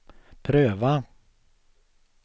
pröva